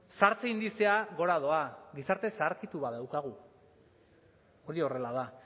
zahartze indizea gora doa gizarte zaharkitu bat daukagu hori horrela da